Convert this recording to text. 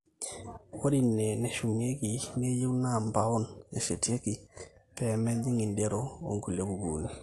ore ine neshumieki neyieu naa mpaon eshetieki pee mejing inderro onkulie kukuuni